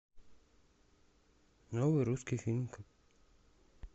новый русский фильм